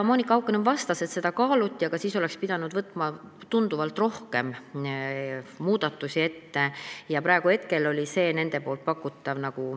Monika Haukanõmm vastas, et seda kaaluti, aga siis oleks pidanud võtma tunduvalt rohkem muudatusi ette ja praegu oli see nende pakutav nagu ...